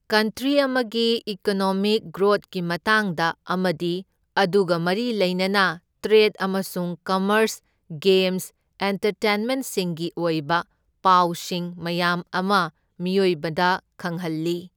country ꯑꯃꯒꯤ economic ꯒ꯭ꯔꯣꯠꯀꯤ ꯃꯇꯥꯡꯗ ꯑꯃꯗꯤ ꯑꯗꯨꯒ ꯃꯔꯤ ꯂꯩꯅꯅ ꯇ꯭ꯔꯦꯗ ꯑꯃꯁꯨꯡ ꯀꯝꯃꯔꯁ ꯒꯦꯝꯁ ꯑꯦꯟꯇꯔꯇꯦꯟꯃꯦꯟꯠꯁꯤꯡꯒꯤ ꯑꯣꯏꯕ ꯄꯥꯎꯁꯤꯡ ꯃꯌꯥꯥꯝ ꯑꯃ ꯃꯤꯌꯣꯏꯕꯗ ꯈꯪꯍꯜꯂꯤ